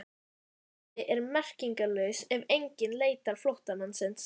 Flótti er merkingarlaus ef enginn leitar flóttamannsins.